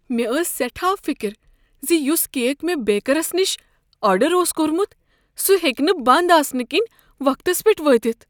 مےٚ ٲس سیٹھاہ فکر ز یس کیک مےٚ بیکرس نش آرڈر اوس کوٚرمت سہ ہیٚکہ نہٕ بنٛد آسنہٕ کنۍ وقتس پیٹھ وٲتتھ۔